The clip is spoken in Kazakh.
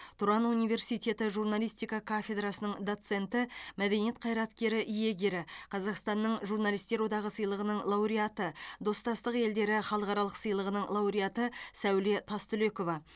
тұран университеті журналистика кафедрасының доценті мәдениет қайраткері иегері қазақстанның журналистер одағы сыйлығының лауреаты достастық елдері халықаралық сыйлығының лауреаты сәуле тастүлекова